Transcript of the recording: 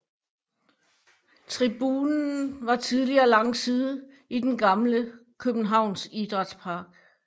Tribunen var tidligere langside i den gamle Københavns Idrætspark